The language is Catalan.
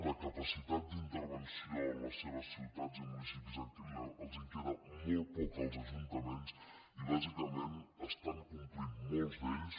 de capacitat d’intervenció en les seves ciutats i mu·nicipis els en queda molt poca als ajuntaments i bà·sicament estan complint molts d’ells